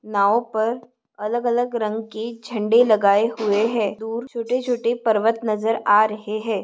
नाव पर अलग अलग रंग के झंडे लगाए हुए है दूर छोटे छोटे पर्वत नजर आ रहे है।